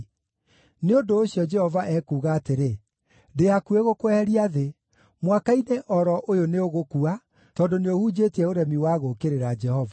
Nĩ ũndũ ũcio, Jehova ekuuga atĩrĩ: ‘Ndĩ hakuhĩ gũkweheria thĩ. Mwaka-inĩ o ro ũyũ nĩũgũkua, tondũ nĩũhunjĩtie ũremi wa gũũkĩrĩra Jehova.’ ”